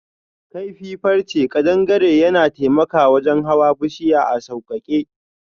Kaifi farrche kadangare yana taimaka wajen hawan bushiya a saukake.